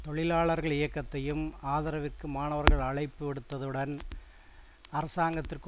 தொழிலாளர்கள் இயக்கத்தையும் ஆதரவிற்கு மாணவர்கள் அழைப்பு விடுத்ததுடன் அரசாங்கத்திற்கு